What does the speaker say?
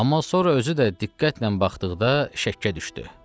Amma sonra özü də diqqətlə baxdıqda şəkkə düşdü.